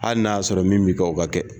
Hali n'a sɔrɔ min bi kɛ o ka kɛ.